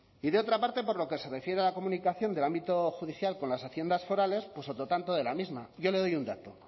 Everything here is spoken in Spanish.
y de otra parte por lo que se refiere a la comunicación del ámbito judicial con las haciendas forales pues otro tanto de la misma yo le doy un dato